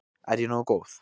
Er ég nógu góð?